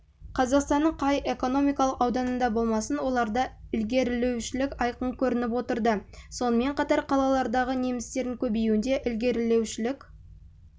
қазақстанның қай экономикалық ауданында болмасын оларда ілгерілеушілік айқын көрініп отырды сонымен қатар қалалардағы немістердің көбеюінде ілгерілеушілік